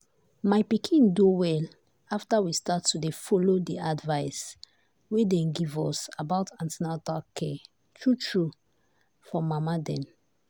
my pikin do well after we start to dey follow the advice wey dem give us about an ten atal care true true for mama dem.